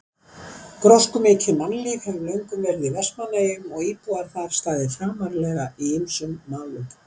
Gróskumikið mannlíf hefur löngum verið í Vestmannaeyjum og íbúar þar staðið framarlega í ýmsum málum.